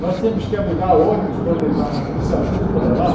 Nós tínhamos que alugar ônibus para levar os alunos para lá.